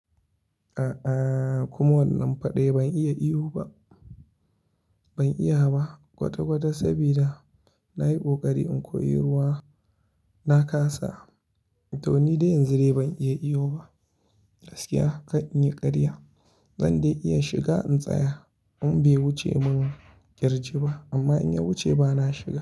A'a kuma wannan fada ban iya iyo ba, ban iya ba kwata kwata saboda na yi ɓokari in koyi ruwa. Na kasa, to ni dai yanzu dai ban iya iyo ba. Gaskiya ka in yi karya, zan dai iya shiga in tsaya in bai wuce mun kirji ba amma in ya wuce ba na shiga.